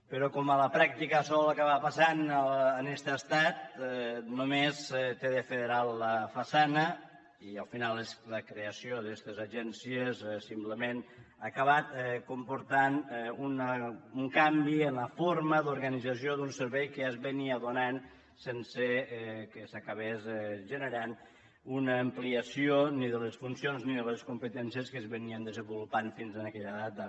però com a la pràctica sol acabar passant en este estat només té de federal la façana i al final la creació d’estes agències simplement acaba comportant un canvi en la forma d’organització d’un servei que ja es donava sense que s’acabés generant una ampliació ni de les funcions ni de les competències que s’havien desenvolupat fins a aquella data